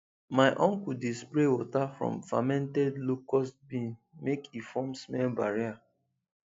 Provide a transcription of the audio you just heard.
my uncle dey spray water from fermented locust bean make e form smell barrier